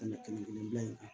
Ka tɛmɛ kelen kelen bila in kan